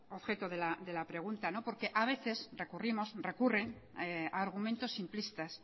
objeto de la pregunta porque a veces recurrimos recurren a argumentos simplistas